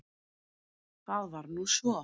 Það var nú svo!